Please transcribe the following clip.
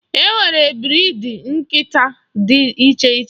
E nwere briidi nkịta dị iche iche.